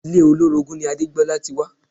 Ilé olórogún ni Adégbolá ti wá